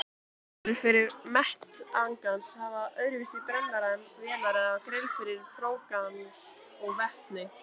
Eldavélar fyrir metangas hafa öðruvísi brennara en vélar eða grill fyrir própangas og vetni.